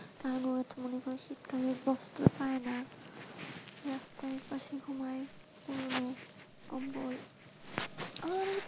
তারপর আবার তারা বস্ত্র পায়না ঘুমাই পুরানো কম্বল।